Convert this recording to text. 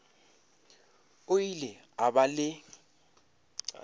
o ile a ba le